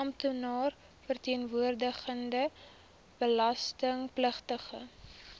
amptenaar verteenwoordigende belastingpligtige